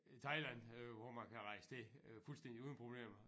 Thailand er jo hvor man kan rejse til øh fuldstændig uden problemer